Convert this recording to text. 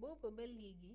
booba ba leegi